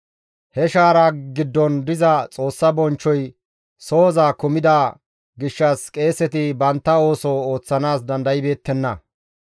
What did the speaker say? He shaaraa giddon diza Xoossa bonchchoy sohoza kumida gishshas qeeseti bantta ooso ooththanaas dandaybeettenna.